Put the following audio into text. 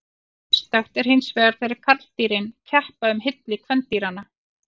Sérstakt er hinsvegar þegar karldýrin keppa um hylli kvendýranna.